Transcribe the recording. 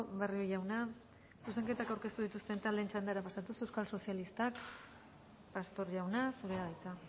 barrio jauna zuzenketak aurkeztu dituzten taldeen txandara pasatuz euskal sozialistak pastor jauna zurea da hitza